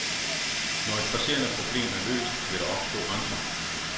Når et presserende problem er løst, vil der opstå andre.